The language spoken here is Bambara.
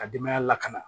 Ka denbaya lakana